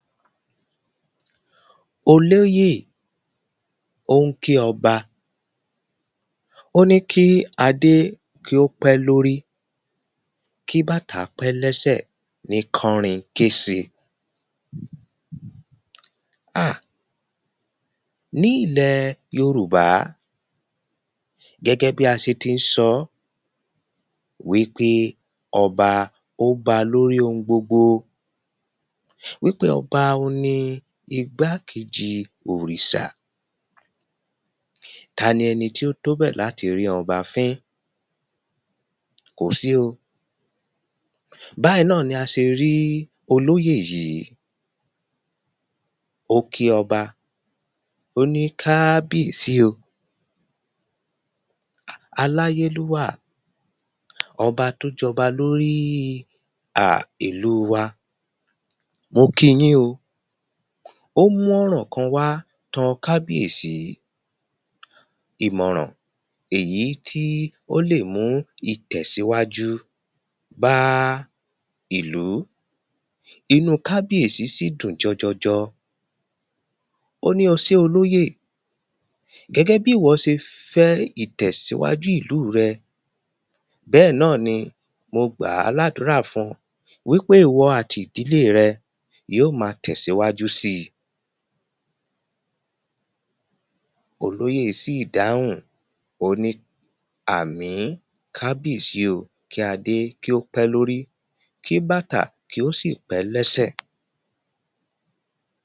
Olóyè ó ń kí ọba Ó ní kí adé kí ó pẹ́ lórí kí bàtà pẹ́ lẹ́sẹ̀ ní kánrinkése Ha ní ilẹ̀ Yorùbá gẹ́gẹ́ bí a ṣe ti ń sọ wípé ọba ó ba lórí oun gbogbo Wípé ọba òhun ni igbá kejì òrìṣà Tani ẹni tí ó tó bẹ́ẹ̀ láti rí ọba fín Kò sí o Báyì náà ni a ṣe rí olóyè yìí Ó kí ọba O ní káábìyèsí o Aláyélúà ọba tí ó jọba lórí um ìlú wa Mo kí yín o O mú ọ̀rọ̀ kan wá tọ kábìyèsí Ìmọ̀ràn èyí tí ó lè mú ìtẹ̀síwájú bá ìlú Inú kábiyèsí sì dún jọjọjọ Ó ní o ṣé olóyè Gẹ́gẹ́ bí ìwọ ṣe fẹ́ ìtẹ̀síwájú ìlú rẹ bẹ́ẹ̀ náà ni mo gbàá ládúrà fun wípé ìwọ àti ìdílé rẹ yóò ma tẹ̀síwáju síi Olóyè sì dáhùn Ó ní àmín kábiyèsí o kí adé kí ó pẹ́ lórí kí bàtà kí ó sì pẹ́ lẹ́sẹ́